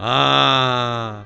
Ha!